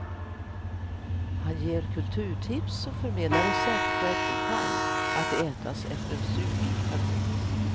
Han ger kulturtips och förmedlar recept på äppelpaj att ätas efter surströmming.